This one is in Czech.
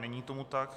Není tomu tak.